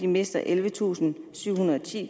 mister ellevetusinde og syvhundrede og ti